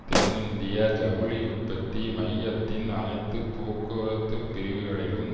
தென்னிந்திய ஜவுளி உற்பத்தி மையத்தின் அனைத்து போக்குவரத்துப் பிரிவுகளிலும்